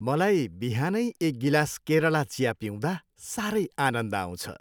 मलाई बिहानै एक गिलास केरला चिया पिउँदा साह्रै आनन्द आउँछ।